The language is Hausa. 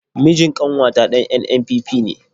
Mijin ƙanwata ɗan NNPP ne.